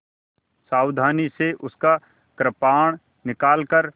सावधानी से उसका कृपाण निकालकर